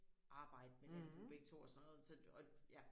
Arbejde med landbrug begge 2 og sådan noget så og ja